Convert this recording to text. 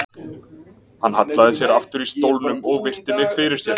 Hann hallaði sér aftur í stólnum og virti mig fyrir sér.